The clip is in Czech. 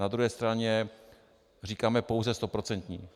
Na druhé straně říkáme pouze stoprocentní.